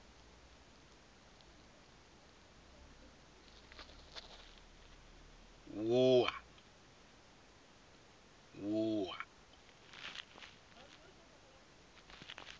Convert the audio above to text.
wua